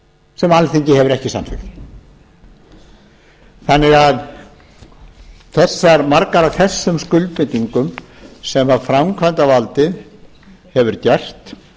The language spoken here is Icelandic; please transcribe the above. sem alþingi hefur ekki samþykkt þannig að margar af þessum skuldbindingum sem framkvæmdarvaldið hefur gert